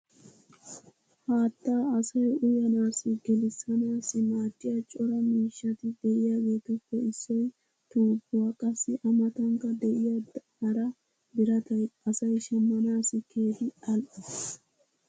Haattaa asay uyyanaassi gelissanaassi maadiya cora miishshati diyaageetuppe issoy tuubbuwa. qassi a matankka de'iya hara birattay asay shamanaassi keehi al'o.